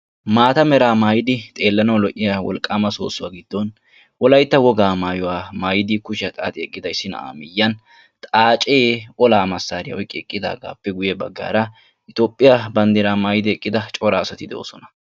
Maataa meraa maayidi xeellanawu lo'iya wolqqaama soossuwa giddon wolaytta wogaa maayuwa maayidi kushiya xaaxi eqqida na'aa miyyiyan xaacee olaa massaariya oyqqi eqqidaagaappe guyye baggaara Toophphiya banddiraa maayidi eqqida cora asati de'oosona.